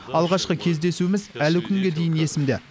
алғашқы кездесуіміз әлі күнге дейін есімде